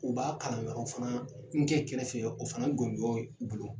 U ba kalan wɛrɛw fana nkɛ kɛrɛfɛ o fana gondugɔ y'u bolo.